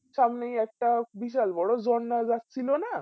সামনে একটা বিসাল বোরো ঝরনাই যাচ্ছিলনা সেই দুদসাগর তহ ওই দুদু সাগর এ গিয়েছিলাম আমরা